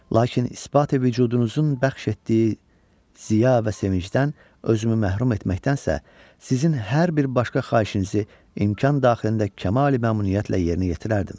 Lakin ispati-vücudunuzun bəxş etdiyi ziya və sevincdən özümü məhrum etməkdənsə, sizin hər bir başqa xahişinizi imkan daxilində kəmali-məmnuniyyətlə yerinə yetirərdim.